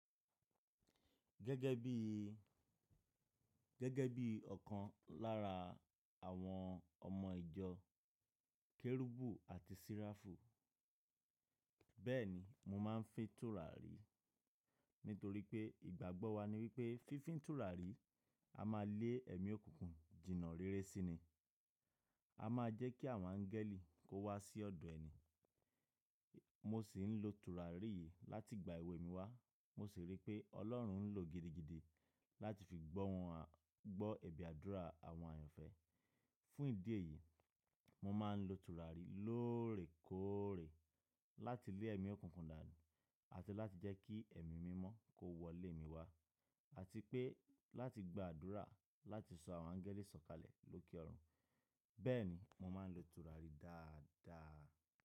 Gẹ́gẹ́ bí, gẹ́gẹ́ bí ọ̀kan lára àwọn ọmọ ìjọ kérúbù àti seráfù. Bẹ́ẹ̀ni mo máa ń fín tùràrí nítorí pé ìgbàgbọ́ wa ni wípé fífi tùràrí a máa lé ẹ̀mí òkùnkùn jìnnà réré sí iní. A máa jẹ́ kí àwọn áńgẹ́lì kó wá sí ọ̀dọ̀ ẹni. Mo sì ń lo tùràrí yìí láti igba ewé mi wá. Mo sì rí pé Ọlọ́run ń lò gidigidi láti fi gbọ́ wọn, gbọ́ ẹ̀be àdúrà àwọn eniyan. Fún ìdí èyí, mo máa ń lo tùràrí lóòrèkóòrè láti lé ẹ̀mí òkùnkùn dànù àti láti jẹ́ kí ẹ̀mí mímọ́ kó wọlé mi wá àti pé láti gba àdúrà láti sọ àwọn áńgẹ́lì sọ̀kalẹ̀ lókè ọ̀run. Bẹ́ẹ̀ni, mo máa ń lo tùràrí dáadáa.